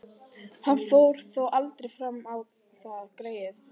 Hann fór þó aldrei fram á það, greyið.